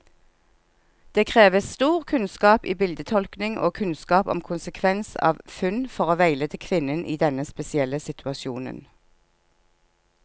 Det krever stor kunnskap i bildetolkning og kunnskap om konsekvens av funn, for å veilede kvinnen i denne spesielle situasjonen.